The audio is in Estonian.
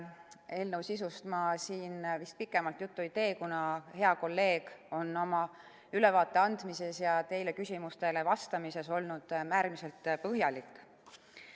Eelnõu sisust ma siin vist pikemalt juttu ei tee, kuna hea kolleeg on ülevaate andmisel ja teie küsimustele vastamisel olnud äärmiselt põhjalik.